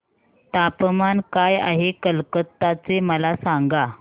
तापमान काय आहे कलकत्ता चे मला सांगा